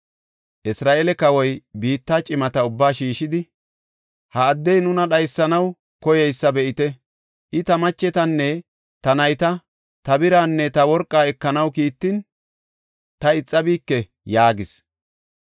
Isra7eele kawoy biitta cimata ubbaa shiishidi, “Ha addey nuna dhaysanaw koyeysa be7ite. I ta machetanne ta nayta, ta biraanne ta worqaa ekanaw kiittin, ta ixabike” yaagis.